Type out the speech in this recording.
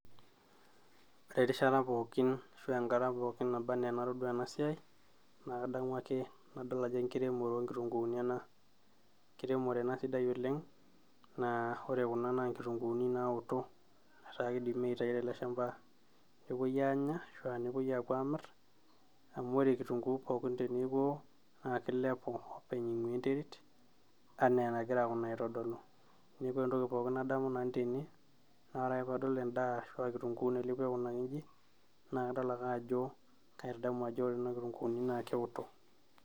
ore erishata pookin ashua enkata pookin naba enaa enatodua ena siai naa kadamuake nadol ajo enkiremore oonkitunguni ena, enkiremore ena sidai oleng naa ore kuna naa inkitunguuni naoto etaa kidimi aitai teleshamba nepuoi aanya ashua nepuoi apuo aamirr amu ore kitunguu pokin teneku ewo naa kilepu openy aing'uaa enterit anaa enagira kuna aitodolu neeku ore entoki pooki nadamu nanu tene naa ore ake paadol endaa arash aa kitunguu nailepua aikunaki inji naa kadol ake ajo kaitadamu ajo ore kuna kitunguuni naa kewoto.